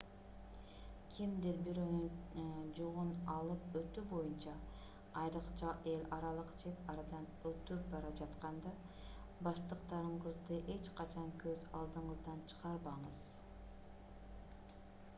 кимдир-бирөөнүн жүгүн алып өтүү боюнча айрыкча эл аралык чек арадан өтүп бара жатканда баштыктарыңызды эч качан көз алдыңыздан чыгарбаңыз